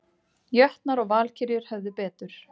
Jötnar og Valkyrjur höfðu betur